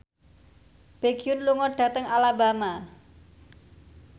Baekhyun lunga dhateng Alabama